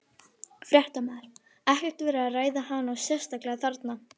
Fréttamaður: Ekkert verið að ræða hana sérstaklega þarna?